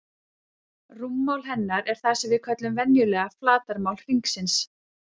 Rúmmál hennar er það sem við köllum venjulega flatarmál hringsins.